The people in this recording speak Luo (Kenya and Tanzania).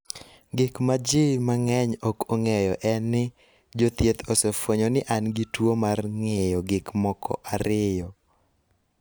Gima ji mang�eny ok ong�eyo en ni, jo thieth osefwenyo ni an gi tuo mar ng�iyo gik moko ariyo,